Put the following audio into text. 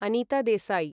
Anita Desai